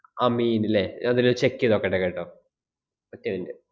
അമീൻ ഇല്ലേ? ഞാൻ എന്താലൊന്ന് check ചെയ്ത് നോക്കട്ടെ കേട്ടോ. ഒറ്റ minute